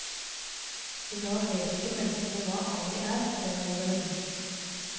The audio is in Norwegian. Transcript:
I dag vet ikke menneskene hva anger er, fremholder hun.